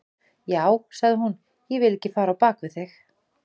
Já, sagði hún, ég vil ekki fara á bak við þig.